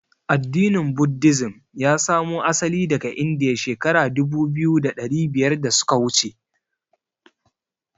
Addinin "Buddhism" ya samo asali daga Indiya shekara dubu biyu da ɗari biyar da suka wuce.